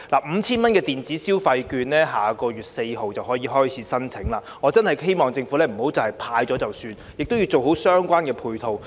五千元電子消費券下月4日便開始接受申請，我希望政府不要派完錢便算數，希望政府做好相關配套。